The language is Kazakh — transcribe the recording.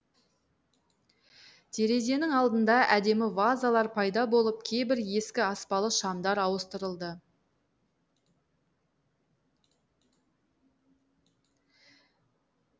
терезенің алдында әдемі вазалар пайда болып кейбір ескі аспалы шамдар ауыстырылды